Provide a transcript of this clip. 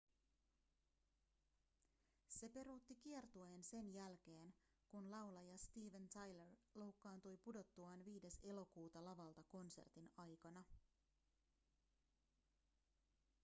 se peruutti kiertueen sen jälkeen kun laulaja steven tyler loukkaantui pudottuaan 5 elokuuta lavalta konsertin aikana